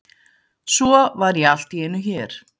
Svo var ég allt í einu hér.